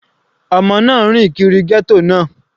Ọmọ náà rìn kiri ghetto náà.